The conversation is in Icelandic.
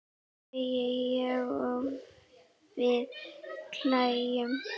segi ég og við hlæjum.